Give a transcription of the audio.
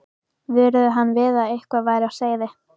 vöruðu hann við að eitthvað væri á seyði.